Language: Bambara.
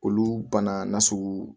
Olu bana na sugu